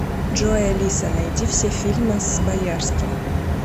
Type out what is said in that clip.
джой алиса найди все фильмы с боярским